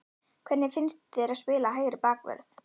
Hvernig finnst þér að spila hægri bakvörð?